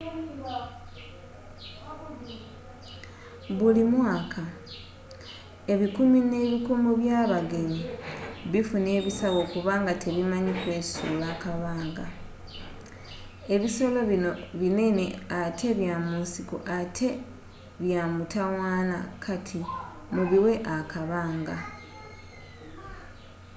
buli mwaka ebikumi n'ebikumi by'abagenyi bifuna ebisago kubanga tebamanyi kwesuula akabanga ebisolo bino binene ate bya munsiko ate bya mutawaana kati mubiwe akabanga